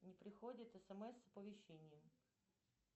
не приходит смс с оповещением